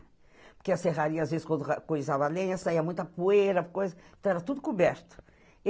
Porque a serraria, às vezes, quando coisava lenha, saia muita poeira, coisa... Então era tudo coberto.